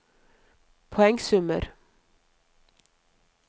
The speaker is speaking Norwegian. poengsummer